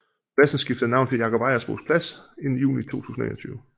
Pladsen skiftede navn til Jakob Ejersbos Plads i juni 2021